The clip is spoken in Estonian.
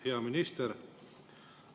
Hea minister!